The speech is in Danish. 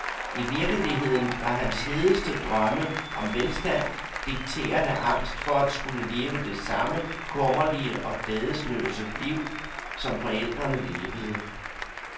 I virkeligheden var hans hedeste drømme om velstand dikteret af angst for at skulle leve det samme kummerlige og glædesløse liv, som forældrene levede.